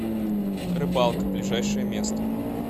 рыбалка ближайшее место